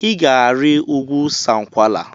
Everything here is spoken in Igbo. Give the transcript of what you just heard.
I ga-ari ugwu Sankwala!